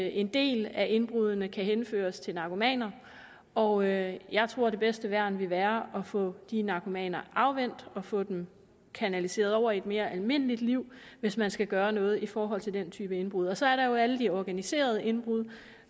en del af indbruddene kan henføres til narkomaner og jeg jeg tror det bedste værn vil være at få de narkomaner afvænnet og få dem kanaliseret over i et mere almindeligt liv hvis man skal gøre noget i forhold til den type indbrud og så er der jo alle de organiserede indbrud